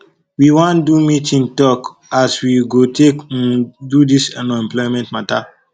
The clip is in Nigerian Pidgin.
we wan do meeting tok as we go take um do dis unemployment mata